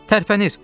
Tərpənir!